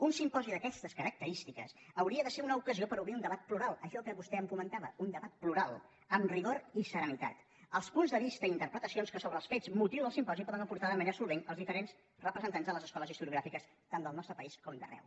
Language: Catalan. un simposi d’aquestes característiques hauria de ser una ocasió per obrir un debat plural això que vostè em comentava un debat plural amb rigor i serenitat els punts de vista i interpretacions que sobre els fets motiu del simposi poden aportar de manera solvent els diferents representants de les escoles historiogràfiques tant del nostre país com d’arreu